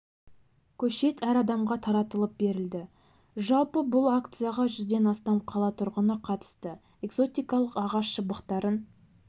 көшет әр адамға таратылып берілді жалпы бұл акцияға жүзден астам қала тұрғыны қатысты экзотикалық ағаш шыбықтарын